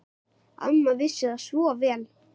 Amma vissi það svo vel.